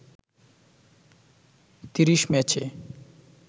৩০ ম্যাচে